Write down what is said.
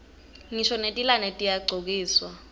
ngisho netilwane tiyagcokiswa timphahla